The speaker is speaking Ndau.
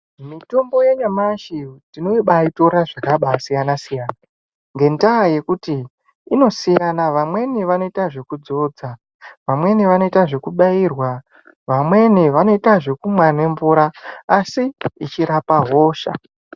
Mitombo yanyamashi tinobaitora zvakasiyna-siyana ngendaa yekuti inosiyana vamweni vanoita zvekudzodza, vamweni vanoita zvekubairwa, vamweni vanoita zvekumwa nemvura asi zvechirapa hosha.